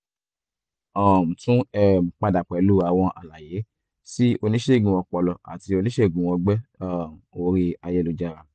um tún um padà pẹ̀lú àwọn àlàyé sí oníṣègùn ọpọlọ àti oníṣègùn ọgbẹ́ um orí ayélujára